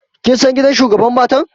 Kin san gidan shugabar matan?